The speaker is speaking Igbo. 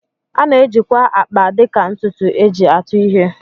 A na-ejikwa akpa dịka ntụtụ e ji atụ ihe